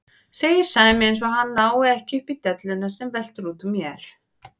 segir Sæmi eins og hann nái ekki upp í delluna sem veltur út úr mér.